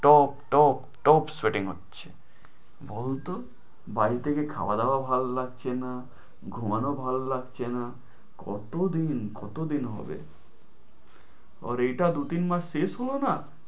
Top টপ টপ sweating হচ্ছে, বলতো? বাড়িতে কি খাওয়া দাওয়া ভালো লাগছে না, ঘুমানো ভাল লাগছেনা, কত দিন কত দিন হবে। আর এটা দু তিন মাস শেষ হলো না?